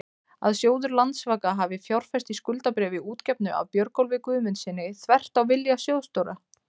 að sjóður Landsvaka hafi fjárfest í skuldabréfi útgefnu af Björgólfi Guðmundssyni, þvert á vilja sjóðsstjóra?